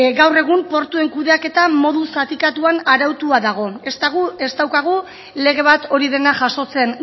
gaur egun portuen kudeaketa modu zatikatuan arautua dago ez daukagu lege bat hori dena jasotzen